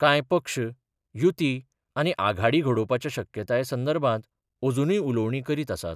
कांय पक्ष युती आनी आघाडी घडोवपाच्या शक्यताये संदर्भात अजुनूय उलोवणीं करीत आसात.